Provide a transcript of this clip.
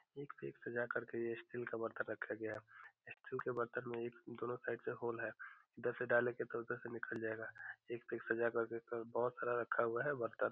एक पे एक सजाके स्टील का बर्तन रखा गया है। स्टील के बर्तन में दोनों साइड से होल है। इधर से डालेंगे तो उदर से निकल जाएगा। एक से एक सजा कर के बोहत सारा रखा है बर्तन।